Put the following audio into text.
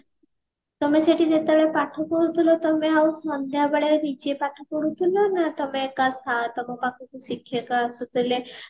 ତମେ ସେଠି ଯେତେବେଳ ପାଠ ପଢୁ ଥିଲ ତମେ ଆଉ ସନ୍ଧ୍ଯା ବେଳେ ନିଜେ ପାଠ ପଢୁ ଥିଲ ନା ତମେ କା ସା ନା ତମ ପାଖକୁ ଶିକ୍ଷକ ଆସୁଥିଲେ